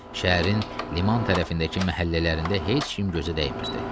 Şəhərin liman tərəfindəki məhəllələrində heç kim gözə dəymirdi.